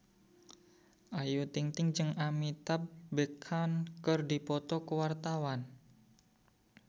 Ayu Ting-ting jeung Amitabh Bachchan keur dipoto ku wartawan